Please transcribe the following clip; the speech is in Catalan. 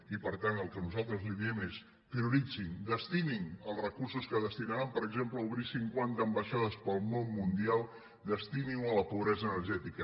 i per tant el que nosaltres li diem és prioritzin destinin els recursos que destinaran per exemple a obrir cinquanta ambaixades per al món mundial destininho a la pobresa energètica